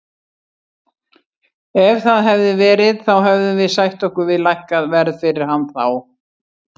Ef það hefði verið þá hefðum við sætt okkur við lækkað verð fyrir hann þá.